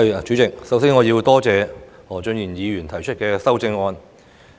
主席，我首先要感謝何俊賢議員提出修正案。